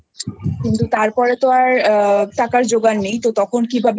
কিন্তু তারপরে তো আর টাকার জোগাড় নেই তো তখন কিভাবে